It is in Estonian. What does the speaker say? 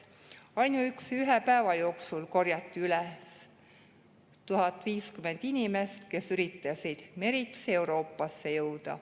Ainuüksi ühe päeva jooksul korjati üles 1050 inimest, kes üritasid meritsi Euroopasse jõuda.